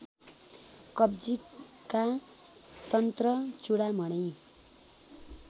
कुब्जिका तन्त्र चूडामणि